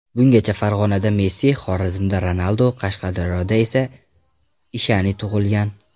Bungacha Farg‘onada Messi , Xorazmda Ronaldo , Qashqadaryoda esa Ishani tug‘ilgan.